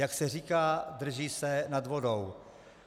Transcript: Jak se říká, drží se nad vodou.